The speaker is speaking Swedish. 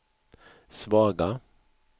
svaga